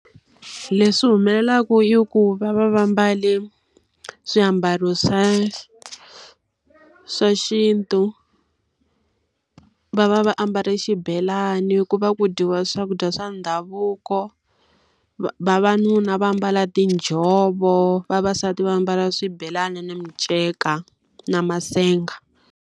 Leswi humelelaka i ku va va va mbale swiambalo swa swa xintu, va va va ambale xibelani, ku va ku dyiwa swakudya swa ndhavuko. Vavanuna va mbala tinjhovo, vavasati va mbala swibelani na minceka na masenga.